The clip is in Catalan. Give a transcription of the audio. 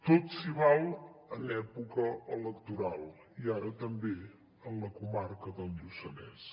tot s’hi val en època electoral i ara també en la comarca del lluçanès